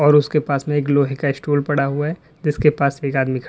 और उसके पास में एक लोहे का स्टूल पड़ा हुआ है जिसके पास एक आदमी खड़ा --